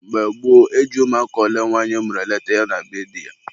mgbe gboo, e ji ụmụ ole nwanyị mụrụ eleta ya na be di ya.